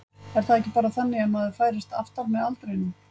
Er það ekki bara þannig að maður færist aftar með aldrinum?